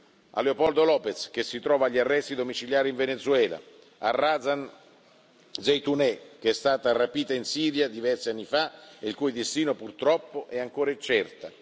Penso a Leopoldo López, che si trova agli arresti domiciliari in Venezuela, a Razan Zaitouneh, che è stata rapita in Siria diversi anni fa e il cui destino, purtroppo, è ancora incerto.